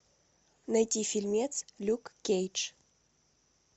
найти фильм люк кейдж